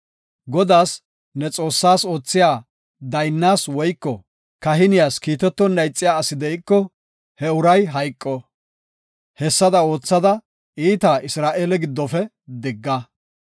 Godaas, ne Xoossaas oothiya daynnas woyko kahiniyas kiitetonna ixiya asi de7iko, he uray hayqo. Hessada oothada, iitaa Isra7eele giddofe digga.